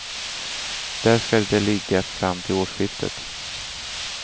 Där ska de ligga fram till årsskiftet.